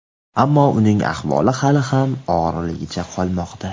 ammo uning ahvoli hali ham og‘irligicha qolmoqda.